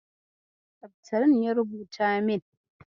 Seftirin ya rubuta min.